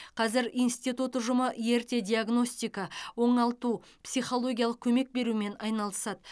қазір институт ұжымы ерте диагностика оңалту психологиялық көмек берумен айналысады